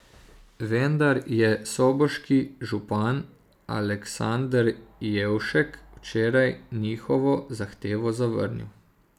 Vendar je soboški župan Aleksander Jevšek včeraj njihovo zahtevo zavrnil.